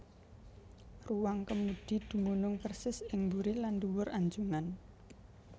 Ruwang kemudi dumunung persis ing buri lan ndhuwur anjungan